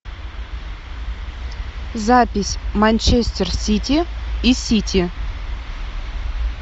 запись манчестер сити и сити